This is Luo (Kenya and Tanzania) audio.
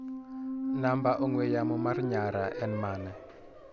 Namba ongu'e yamo mar nyara en mane?